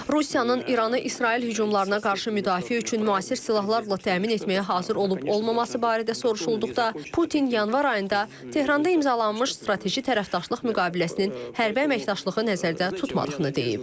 Rusiyanın İranı İsrail hücumlarına qarşı müdafiə üçün müasir silahlarla təmin etməyə hazır olub-olmaması barədə soruşulduqda, Putin yanvar ayında Tehranda imzalanmış strateji tərəfdaşlıq müqaviləsinin hərbi əməkdaşlığı nəzərdə tutmadığını deyib.